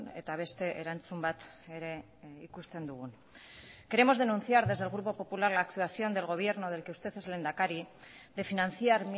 eta beste erantzun bat ere ikusten dugun queremos denunciar desde el grupo popular la actuación del gobierno del que usted es lehendakari de financiar